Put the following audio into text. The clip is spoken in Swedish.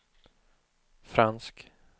fransk